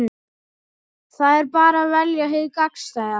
Það er bara að velja hið gagnstæða.